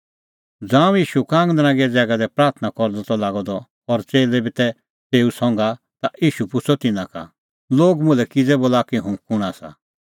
ज़ांऊं ईशू कांगनरांगै ज़ैगा दी प्राथणां करदअ त लागअ द और च़ेल्लै बी तै तेऊ संघा ता ईशू पुछ़अ तिन्नां का लोग मुल्है किज़ै बोला कि हुंह कुंण आसा